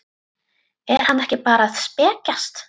Er hann ekki bara að spekjast?